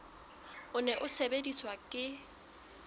o ne o sebediswa ke